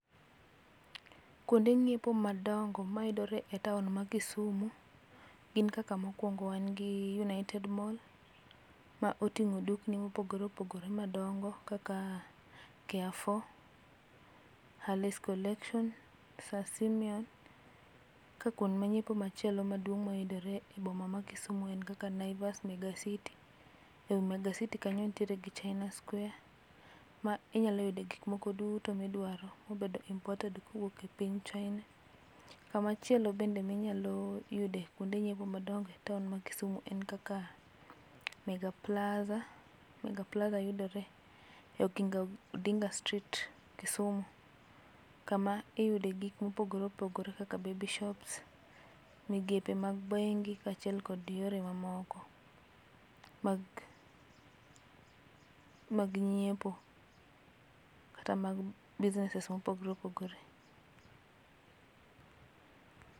Kwonde ng'iepo madongo mayudore e taon ma Kisumu, gin kaka mokwongo wan gi United Mall, ma oting'o dukni mopogore opogore madongo kaka Carrefour, Hurley's collection, Sir Simeon. Ka kwond ma nyiepo machielo maduong' mayudore e boma ma Kisumu en kaka Naivas, Mega City. Ei Mega City kanyo nitiere gi China square ma inyalo yude gik moro duto midwaro mobedo imported kuwuok e piny China. Kamachielo bende minyalo yode kwonde nyiepo madongo e taon ma Kisumu en kaka, Mega Plaza. Mega Plaza yudore e Oginga odinga street Kisumu. Kama iyude gik mopogore opogore kaka baby shops, migepe mag bengi kachiel kod yore mamoko mag mag nyiepo kata mag businesses mopogre opogore